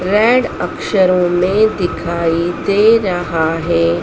Red अक्षरों में दिखाई दे रहा हैं।